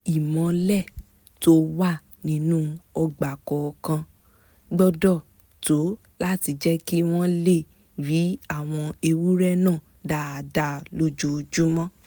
ìmọ́lẹ̀ tó wà nínú ọgbà kọ̀ọ̀kan gbọ́dọ̀ tó láti jẹ́ kí wọ́n lè rí àwọn ewúrẹ́ náà dáadáa lójoojúmọ́